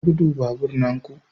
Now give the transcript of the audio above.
Rage gudu babur na ku.